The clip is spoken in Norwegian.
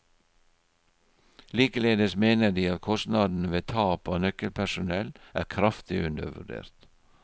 Likeledes mener de at kostnadene ved tap av nøkkelpersonell er kraftig undervurdert.